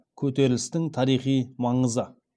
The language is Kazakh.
көтерілістің тарихи маңызы